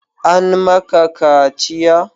An ma ka kaciya?